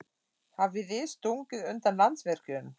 Hafið þið stungið undan Landsvirkjun?